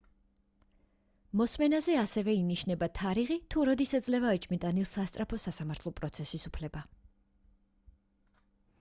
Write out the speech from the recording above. მოსმენაზე ასევე ინიშნება თარიღი თუ როდის ეძლევა ეჭვმიტანილს სასწრაფო სასამართლო პროცესის უფლება